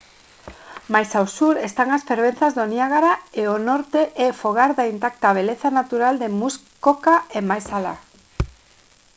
máis ao sur están as fervenzas do niágara e o norte é fogar da intacta beleza natural de muskoka e máis alá